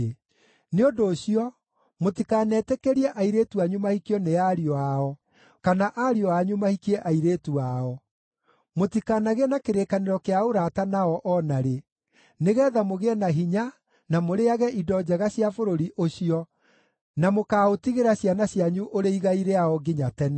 Nĩ ũndũ ũcio, mũtikanetĩkĩrie airĩtu anyu mahikio nĩ ariũ ao kana ariũ anyu mahikie airĩtu ao. Mũtikanagĩe na kĩrĩkanĩro kĩa ũrata nao o na rĩ, nĩgeetha mũgĩe na hinya na mũrĩĩage indo njega cia bũrũri ũcio, na mũkaaũtigĩra ciana cianyu ũrĩ igai rĩao nginya tene.’